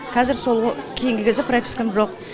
қазір сол кейінгі кезде пропискам жоқ